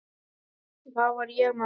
Þar var ég með allt.